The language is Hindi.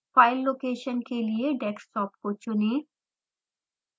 फाइल लोकेशन के लिए डेस्कटॉप को चुनें